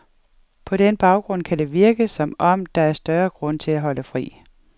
På den baggrund kan det virke, som om der er større grund til at holde fri.